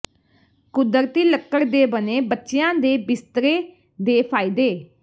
ਕੁਦਰਤੀ ਲੱਕੜ ਦੇ ਬਣੇ ਬੱਚਿਆਂ ਦੇ ਬਿਸਤਰੇ ਦੇ ਫਾਇਦੇ